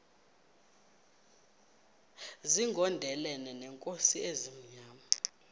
zigondelene neenkosi ezimnyama